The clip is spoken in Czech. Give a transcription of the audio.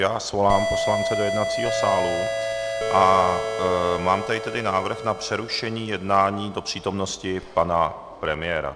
Já svolám poslance do jednacího sálu a mám tady tedy návrh na přerušení jednání do přítomnosti pana premiéra.